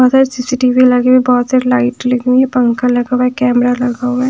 बहुत सारी सी_सी_टी_वी लगे हुए बहुत सारी लाइट लगी हुई हैपंखा लगा हुआ है कैमरा लगा हुआ है।